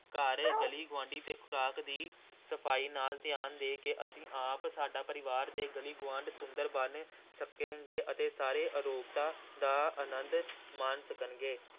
ਘਰ, ਗਲੀ ਗੁਆਂਢੀ ਤੇ ਖ਼ੁਰਾਕ ਦੀ ਸਫ਼ਾਈ ਨਾਲ ਧਿਆਨ ਦੇ ਕੇ ਅਸੀਂ ਆਪ, ਸਾਡਾ ਪਰਿਵਾਰ ਤੇ ਗਲੀ ਗੁਆਂਢ ਸੁੰਦਰ ਬਣ ਸਕੇਗਾ ਤੇ ਸਾਰੇ ਅਰੋਗਤਾ ਦਾ ਆਨੰਦ ਮਾਣ ਸਕਣਗੇ।